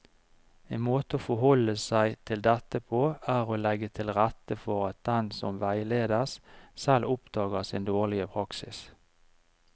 En måte å forholde seg til dette på er å legge til rette for at den som veiledes, selv oppdager sin dårlige praksis.